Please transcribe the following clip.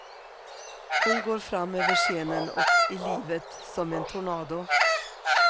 Hon går fram över scenen och i livet som en tornado.